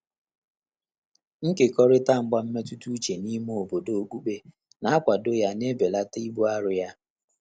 Ị́kékọ́rị́tà mgbà mmétụ́tà úchè n’ímé òbòdò ókpùkpé nà-ákwàdò yá nà-ébèlàtà íbù áró yá.